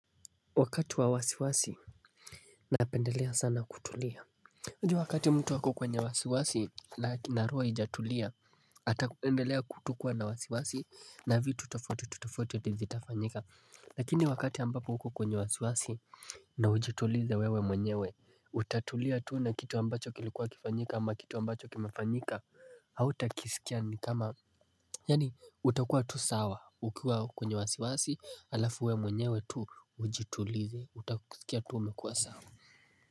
Wakati wa wasiwasi napendelea sana kutulia Juwu wakati mtu ako kwenye wasiwasi. Na roho haijatulia. Utaendelea tu kuwa na wasiwasi, na vitu tofauti tofauti ndivyo vitafanyika. Lakini wakati ambapo uko kwenye wasiwasi, na ujitulize wewe mwenyewe. Utatulia tu na kitu ambacho kilikuwa kifanyike, ama kitu ambacho kimefanyika. Hautakisikia ni kama, yaani, utakua tu sawa ukiwa kwenye wasiwasi, alafu wewe mwenyewe tu ujitulize. Utakusikia tu umekuwa sawa.